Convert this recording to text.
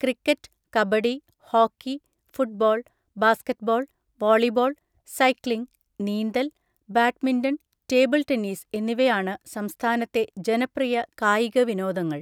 Cricket, kabaddi, hockey, football, basketball, volleyball, cycling, നീന്തൽ, badminton, table tennis എന്നിവയാണ് സംസ്ഥാനത്തെ ജനപ്രിയ കായിക വിനോദങ്ങൾ.